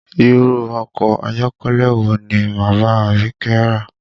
Irú ọkọ ayọ́kẹ́lẹ́ wo ni bàbá Abike rà?